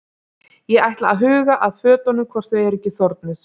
Ég ætla að huga að fötunum hvort þau eru ekki þornuð.